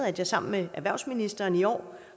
at jeg sammen med erhvervsministeren i år